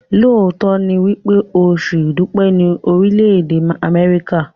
lóòtó ní wípé Oṣù idupẹ ni Orile-ede Amẹrika.